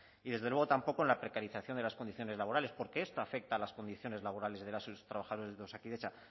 y desde luego tampoco en la precarización de las condiciones laborales porque esto afecta a las condiciones laborales de las y los trabajadores de osakidetza